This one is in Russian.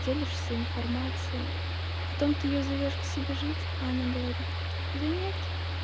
делишься информацией потом ты её зовёшь к себе жить а она говорит да нет